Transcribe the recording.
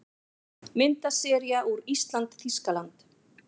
Myndasería úr ÍSLAND- Þýskaland